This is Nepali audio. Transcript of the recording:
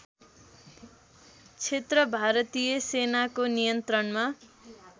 क्षेत्र भारतीय सेनाको नियन्त्रणमा